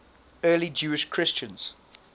early jewish christians